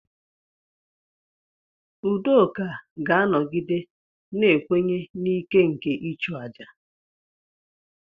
Udoka ga-anọgide na-ekwenye na ike nke ịchụ aja.